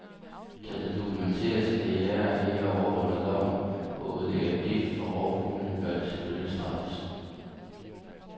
Kan det dokumenteres, at jægere ikke overholder loven og udlægger gift for rovfuglene, bør de selvfølgelig straffes.